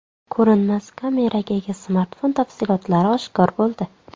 Ko‘rinmas kameraga ega smartfon tafsilotlari oshkor bo‘ldi.